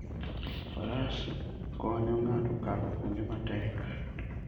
Faras konyo ng'ato kalo kuonde matek.